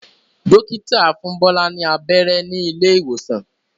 Dókítà fún Bola ní abẹ́rẹ́ ní ilé ìwòsàn.